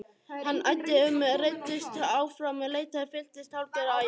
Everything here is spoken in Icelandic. Hann æddi um, ruddist áfram, leitaði, fylltist hálfgerðu æði.